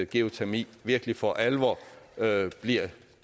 geotermi virkelig for alvor bliver